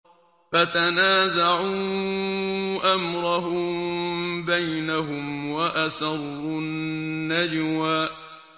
فَتَنَازَعُوا أَمْرَهُم بَيْنَهُمْ وَأَسَرُّوا النَّجْوَىٰ